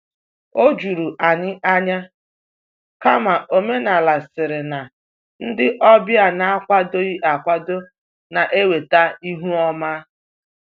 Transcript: O juru anyị ányá, kama omenala sịrị na ndị ọbịa n'akwadoghị akwado na- eweta ihu ọma.